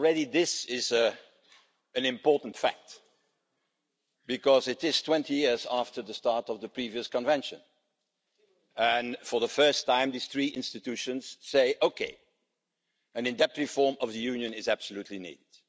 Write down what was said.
This is already an important fact because it is 20 years after the start of the previous Convention and, for the first time, these three institutions say, OK, an in-depth reform of the Union is absolutely needed'.